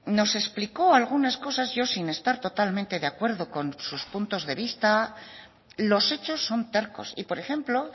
nos explicó algunas cosas yo sin estar totalmente de acuerdo con sus puntos de vista los hechos son tercos y por ejemplo